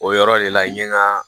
O yɔrɔ de la i ye ɲɛgaa